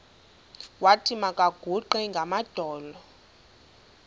wathi makaguqe ngamadolo